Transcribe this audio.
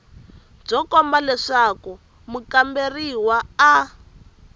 byo komba leswaku mukamberiwa a